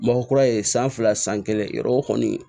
Mɔgɔ kura ye san fila san kelen yɔrɔ o kɔni